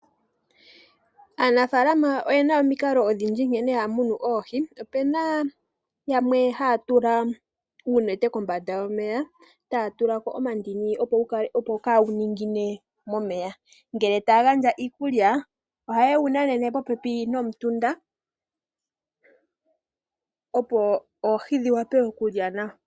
Aanafaalama oyena omikalo odhindji nkene haya munu oohi. Opena yamwe haya tula uunete kombanda yomeya, taya tulako omandini opo kawu ningine momeya. Ngele taya gandja iikulya ohaye wu nanene popepi nomutunda opo oohi dhi wape okulya nawa.